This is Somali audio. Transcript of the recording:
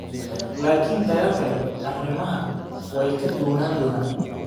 Laakiin dagaal kale arrimuhu way ka duwanaan doonaan."